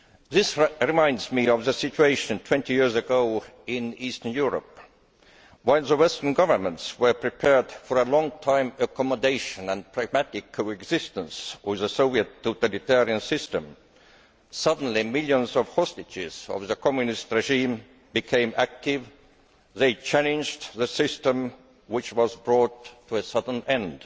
This reminds me of the situation 20 years ago in Eastern Europe while the Western governments were prepared for a long term accommodation and pragmatic coexistence with the Soviet totalitarian system, suddenly millions of hostages of the Communist regime became active they challenged the system, which was brought to a sudden end.